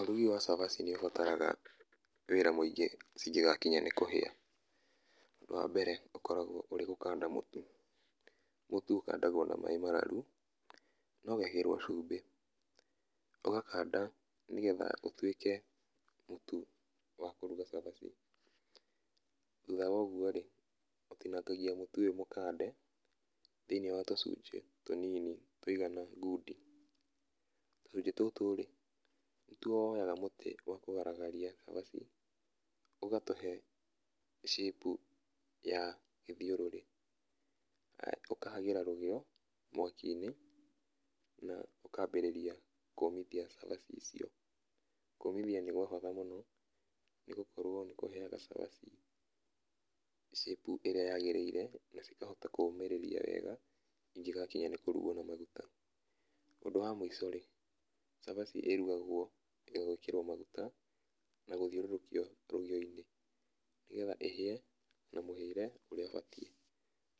Ũrugi wa cabaci nĩ ũbataraga wĩra mũingĩ cigĩgakinya nĩ kũhĩa. Wa mbere ũkoragũo ũrĩ gũkanda mũtu, mũtu ũkandagwo na maĩ mararu, na ũgekĩrwo cumbĩ, ũgakanda nĩ getha ũtuĩke mũtu wa kũruga cabaci, thutha wa ũguo rĩ, ũtinangagia mũtu ũyũ mũkande thĩinĩ wa tũcunjĩ tũnini tũigana ngundi. Tũcunjĩ tũtũ rĩ, nĩtu woyaga mũtĩ wa kũgaragaria cabaci ũgatũhe shape ya gĩthiũrũrĩ, ũkahagĩra rũgĩo mwaki-inĩ, na ũkambĩrĩria kũũmithia cabaci ciaku. Kũũmithia nĩ kwa bata mũno nĩ gũkorũo nĩ kũheaga cabaci shape ĩrĩa yagĩrĩire na cikahota kũũmĩrĩria wega igĩgakinya kũrugwo na maguta. Ũndũ wa mũico rĩ, cabaci ĩrugagwo ĩgekĩrwo maguta, na gũthiũrũrũkio rũgĩo-inĩ nĩ getha ĩhĩe na mũhĩire ũrĩa ũbatie